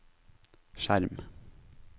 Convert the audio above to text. skjerm